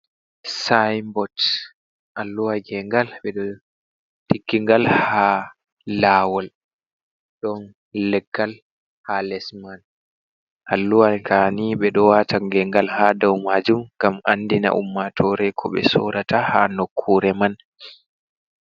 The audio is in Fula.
Syain bot alluwa ge ngal ɓeɗo tiggi ngal ha lawol. Ɗon leggal ha lesman. Alluwa ka'ni ɓe ɗo wata gen ngal ha dau majum gam andina ummatore ko be sorata ha nokkure man.